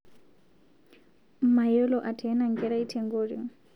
Mayiolo ateena nkerai tenkoring